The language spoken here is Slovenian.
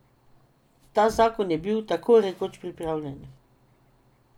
Ta zakon je bil tako rekoč pripravljen.